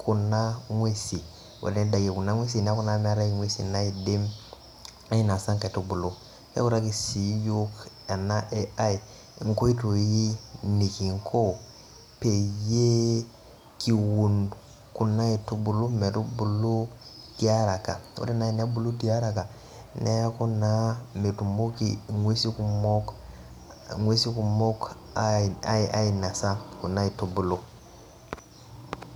kuna ngwesin ore teneidakie kuna ngwesin neeku naa meetae ingwesin naidim ainasa inkaitubulu neutakii sii iyok ena AI inkoitoi nekinko peyiee kiun kuna aitubulu metubulu tiaraka ore nayi tenebulu tiaraka neeku naa metuumoki ingwesi kumok ainasa kuna aitubulu.